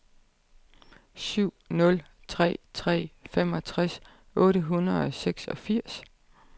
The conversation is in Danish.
syv nul tre tre femogtres otte hundrede og seksogfirs